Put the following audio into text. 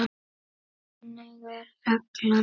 En þá kom hrunið.